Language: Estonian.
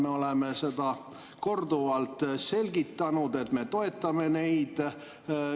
Me oleme seda korduvalt selgitanud, et me toetame neid.